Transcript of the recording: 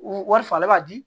U wari falen b'a di